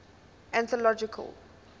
anthological